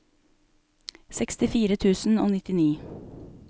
sekstifire tusen og nittini